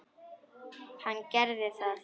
Hann gerði það.